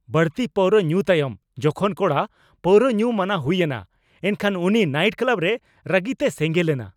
ᱵᱟᱹᱲᱛᱤ ᱯᱟᱹᱣᱨᱟᱹ ᱧᱩ ᱛᱟᱭᱚᱢ ᱡᱚᱠᱷᱚᱱ ᱠᱚᱲᱟ ᱯᱟᱹᱣᱨᱟᱹ ᱧᱩ ᱢᱟᱱᱟ ᱦᱩᱭᱮᱱᱟ ᱮᱱᱠᱷᱟᱱ ᱩᱱᱤ ᱱᱟᱭᱤᱴ ᱠᱞᱟᱵ ᱨᱮ ᱨᱟᱹᱜᱤᱛᱮᱭ ᱥᱮᱸᱜᱮᱞ ᱮᱱᱟ ᱾